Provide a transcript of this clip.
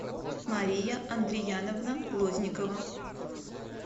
мария андрияновна лозникова